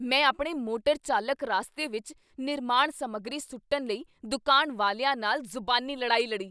ਮੈਂ ਆਪਣੇ ਮੋਟਰ ਚਾਲਕ ਰਾਸਤੇ ਵਿੱਚ ਨਿਰਮਾਣ ਸਮੱਗਰੀ ਸੁੱਟਣ ਲਈ ਦੁਕਾਨ ਵਾਲਿਆਂ ਨਾਲ ਜ਼ੁਬਾਨੀ ਲੜਾਈ ਲੜੀ।